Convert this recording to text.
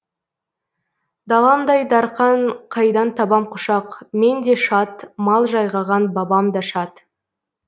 даламдай дарқан қайдан табам құшақ мен де шат мал жайғаған бабам да шат